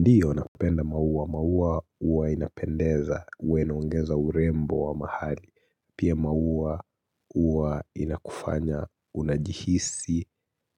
Ndiyo napenda maua, maua huwa inapendeza huwa inaongeza urembo wa mahali. Pia maua huwa inakufanya unajihisi